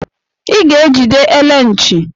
I ga-ejide ele nchi!